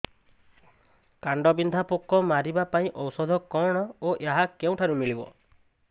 କାଣ୍ଡବିନ୍ଧା ପୋକ ମାରିବା ପାଇଁ ଔଷଧ କଣ ଓ ଏହା କେଉଁଠାରୁ ମିଳିବ